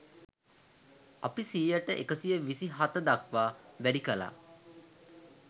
අපි සියයට එකසිය විසි හත දක්වා වැඩි කළා